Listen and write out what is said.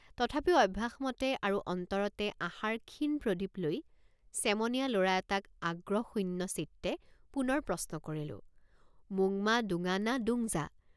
তথাপিও অভ্যাসমতে আৰু অন্তৰতে আশাৰ ক্ষীণ প্ৰদীপ লৈ চেমনীয়া লৰা এটাক আগ্ৰহশূন্যচিত্তে পুনৰ প্ৰশ্ন কৰিলোঁ মোংমা দোঙা না দোংযা?